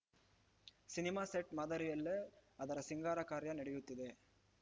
cinema set ಮಾದರಿಯಲ್ಲೇ ಅದರ ಸಿಂಗಾರ ಕಾರ್ಯ ನಡೆಯುತ್ತಿದೆ